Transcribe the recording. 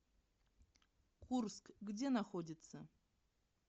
курск где находится